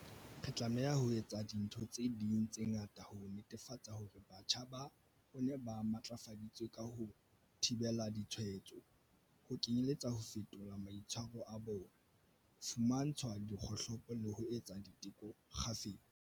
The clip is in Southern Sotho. Re tlameha ho etsa dintho tse ding tse ngata ho netefatsa hore batjha ba rona ba matlafaditswe ka ho thibela ditshwaetso, ho kenyeletsa ho fetola maitshwaro a bona, ho fumantshwa dikgohlopo le ho etsa diteko kgafetsa.